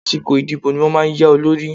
Àsìkò ìdìbò ní wọ́n máa ń ya olórí.